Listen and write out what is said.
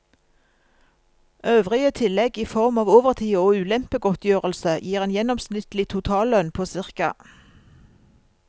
Øvrige tillegg i form av overtid og ulempegodtgjørelse gir en gjennomsnittlig totallønn på ca.